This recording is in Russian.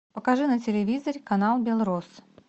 покажи на телевизоре канал белрос